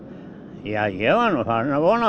já ég var nú farinn að vona